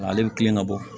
Ale bɛ kilen ka bɔ